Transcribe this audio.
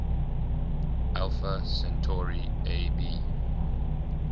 alpha centauri ab